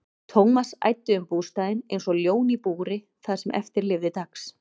Thomas æddi um bústaðinn einsog ljón í búri það sem eftir lifði dags.